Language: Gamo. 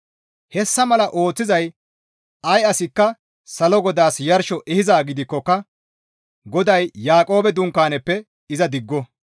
Hessa mala ooththiza ay asikka salo GODAAS yarsho ehizaa gidikkoka GODAY Yaaqoobe dunkaanaappe iza digo.